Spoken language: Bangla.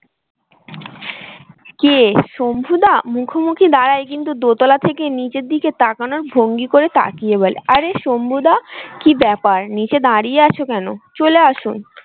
কে শম্ভু দা মুখোমুখি দাঁড়াই কিন্তু দোতলা থেকে নীচের দিকে তাকানোর ভঙ্গি করে তাকিয়ে বলে আরে শম্ভু দা কি ব্যাপার নীচে দাঁড়িয়ে আছো কেন? চলে আসুন